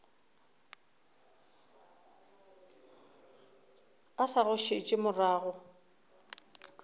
o sa go šetše morago